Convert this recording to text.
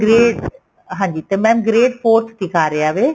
grade ਹਾਂਜੀ ਤੇ mam grade forth ਦਿਖਾ ਰਿਹਾ ਵੇ